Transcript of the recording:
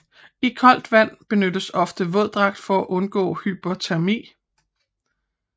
I koldt vand benyttes ofte våddragt for at undgå hypotermi